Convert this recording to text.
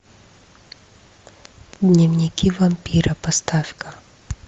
дневники вампира поставь ка